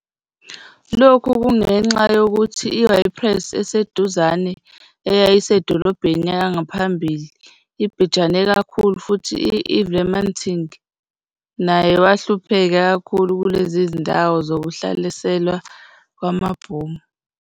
Lokhu kungenxa yokuthi i-Ypres eseduzane, eyayiyi-edolobheni yangaphambili, ibhejane kakhulu futhi uVlamertinge naye wahlupheka kakhulu kulezi zindawo zokuhlaselwa kwamabhomu.